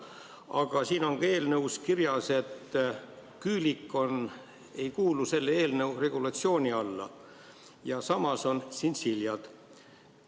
Aga eelnõus on ka kirjas, et küülik ei kuulu selle eelnõu regulatsiooni alla ja samas tšintšilja kuulub.